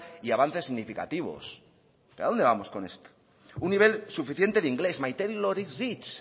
y avances significativos pero a dónde vamos con esto un nivel suficiente de inglés my tailor is rich